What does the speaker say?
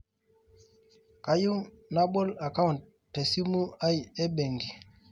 kayieu nabol account te simu aai e benki